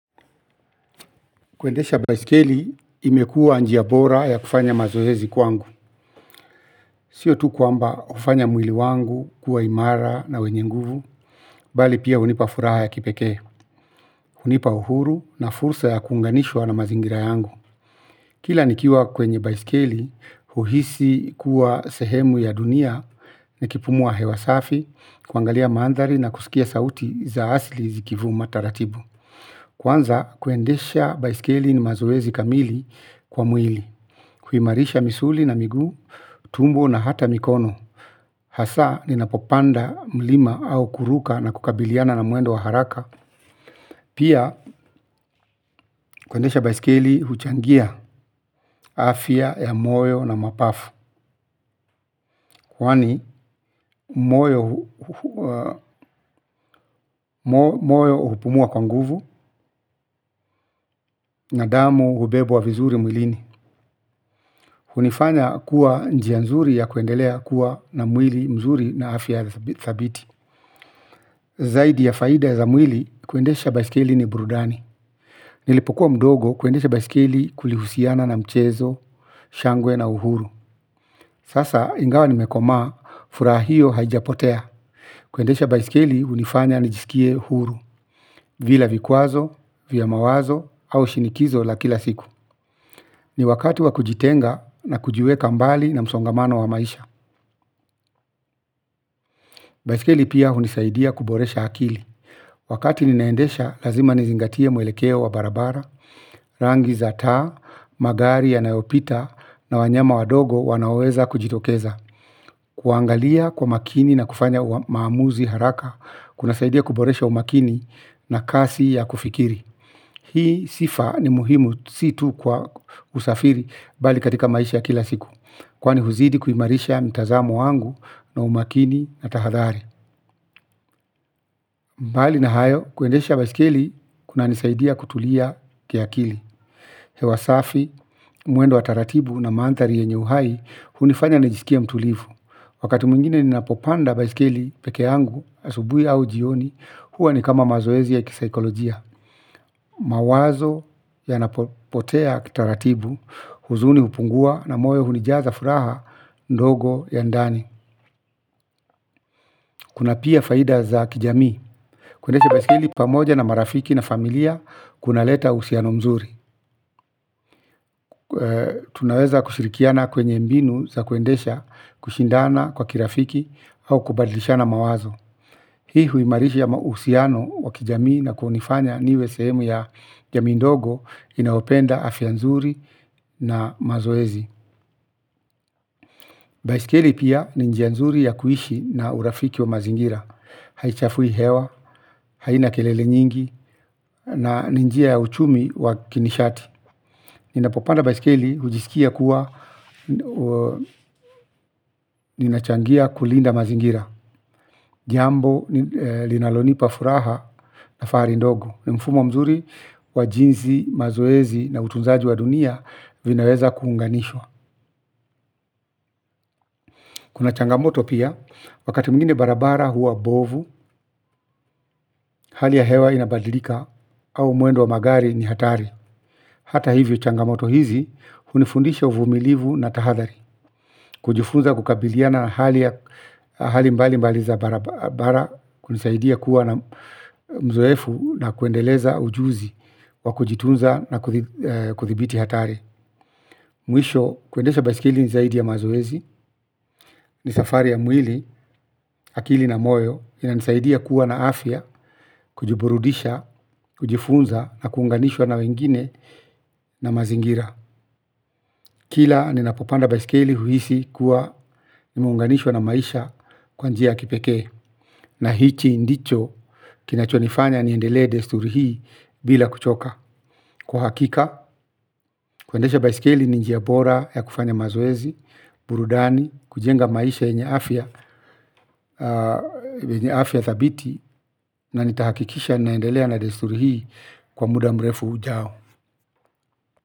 Kuendesha baiskeli imekuwa njia bora ya kufanya mazoezi kwangu. Sio tu kwamba hufanya mwili wangu, kuwa imara na wenye nguvu, bali pia hunipa furaha ya kipekee, hunipa huru na fursa ya kuunganishwa na mazingira yangu. Kila nikiwa kwenye baiskeli, huhisi kuwa sehemu ya dunia nikipumua hewa safi, kuangalia mandhari na kusikia sauti za asli zikivuma taratibu. Kwanza, kwendesha baiskeli ni mazoezi kamili kwa mwili. Kuimarisha misuli na miguu, tumbo na hata mikono. Hasa ni napopanda mlima au kuruka na kukabiliana na muendo wa haraka. Pia kuendesha baiskeli huchangia afya ya moyo na mapafu kwani moyo hupumua kwa nguvu na damu hubebwa vizuri mwilini. Hunifanya kwa njia nzuri kuendelea kuwa na mwili mzuri na afya thabiti. Zaidi ya faida ya za mwil, i kuendesha baiskeli ni burudani. Nilipokuwa mdogo, kuendesha baiskeli kulihusiana na mchezo, shangwe na uhuru. Sasa ingawa nimekomaa, furaha hio haijapotea. Kuendesha baiskeli hunifanya nijisikie huru bila vikwazo, vya mawazo au shinikizo ya kila siku. Ni wakati wa kujitenga na kujiweka mbali na msongamano wa maisha. Baiskeli pia hunisaidia kuboresha akili. Wakati ninaendesha, lazima nizingatia mwelekeo wa barabara. Rangi za taa, magari ya nayopita, na wanyama wadogo wanaweza kujitokeza. Kuangalia kwa makini na kufanya maamuzi haraka kuna saidia kuboresha umakini na kasi ya kufikiri. Hii sifa ni muhimu, si tu kwa kusafiri bali katika maisha ya kila siku, kwani huzidi kuimarisha mtazamo wangu na umakini na tahadhari. Mbali na hayo kuendesha baisikeli kunanisaidia kutulia ki akili. Hewa safi, mwendo wa taratibu na mandhari yenye uhai, hunifanya nijisikie mtulivu. Wakati mwingine ninapopanda baisikeli peke yangu, asubuhi au jioni, huwa ni kama mazoezi ya kisaikolojia. Mawazo yanapotea taratibu, huzuni hupungua na moyo hunijaza furaha ndogo ya ndani. Kuna pia faida za kijami. Kuendesha baisikeli pamoja na marafiki na familia kuna leta uhusiano mzuri. Tunaweza kushirikiana kwenye mbinu za kuendesha, kushindana kwa kirafiki au kubadilishana mawazo. Hii huimarishia uhusiano wa kijamii na kunifanya niwe sehemu ya jamii ndogo inayopenda afya nzuri na mazoez. Baisikeli pia ni njia nzuri ya kuishi na urafiki wa mazingira. Haichafui hewa, haina kelele nyingi. Na ni njia ya uchumi wa kinishati. Ninapopanda baisikeli hujisikia kuwa ninachangia kulinda mazingira. Jiambo linalonipa furaha na fahari ndogo. Mfumo mzuri wa jinsi mazoezi na utunzaji wa dunia vinaweza kuunganishwa kuna changamoto pia, wakati mwingine barabara huwa mbovu. Hali ya hewa inabadilika au mwendo wa magari ni hatari. Hata hivyo changamoto hizi hunifundisha uvumilivu na tahadhari. Kujifunza kukabiliana na hali mbalimbali za barabara, hunisaidia kuwa na uzoefu na kuendeleza ujuzi wa kujitunza na kudhibiti hatari. Mwisho, kuendesha basikeli nizaidi ya mazoezi ni safari ya mwili, akili na moyo inanisaidia kuwa na afya, kujiburudisha, kujifunza na kuunganishwa na wengine na mazingira. Kila ninapopanda baisikeli huhisi kuwa nimeunganishwa na maisha kwa njia ya kipekee. Na hichi ndicho kinachonifanya niendelea desturu hii bila kuchoka. Kwa hakika, kuendesha baisikeli ni njia bora ya kufanya mazoezi, burudani, kujenga maisha yenye afya afya thabiti na nitahakikisha ninaendelea na desturi hii kwa muda mrefu ujao.